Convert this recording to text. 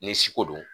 Ni siko do